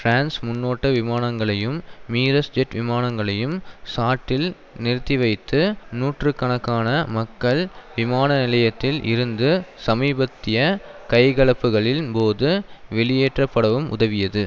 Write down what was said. France முன்னோட்ட விமானங்களையும் Mirage jet விமானங்களையும் சாட்டில் நிறுத்திவைத்து நூற்று கணக்கான மக்கள் விமான நிலையத்தில் இருந்து சமீபத்திய கைகலப்புக்களின் போது வெளியேற்றப்படவும் உதவியது